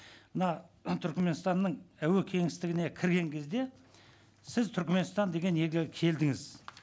мына түркменстанның әуе кеңістігіне кірген кезде сіз түркменстан деген елге келдіңіз